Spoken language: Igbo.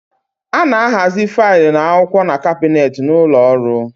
A na ahazi filu na akwụkwọ n'kabnet n'ụlọ ọrụ